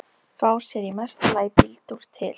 Fá sér í mesta lagi bíltúr til